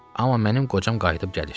Amma mənim qocam qayıdıb gəlir.